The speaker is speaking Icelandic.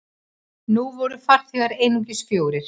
Nú voru farþegar einungis fjórir.